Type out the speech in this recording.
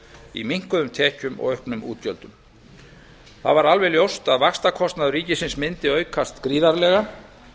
í minnkuðum tekjum og auknum útgjöldum það varð alveg ljóst að vaxtakostnaður ríkisins mundi aukast gríðarlega